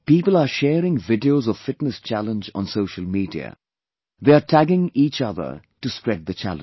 People are sharing videos of Fitness Challenge on social media; they are tagging each other to spread the challenge